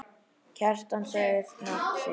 Kjartan sagði nafn sitt.